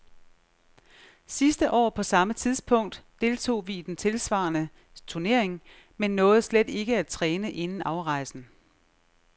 Sidste år på samme tidspunkt deltog vi i den tilsvarende turnering, men nåede slet ikke at træne inden afrejsen.